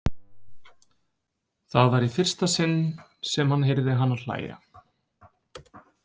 Það var í fyrsta sinn sem hann heyrði hana hlæja.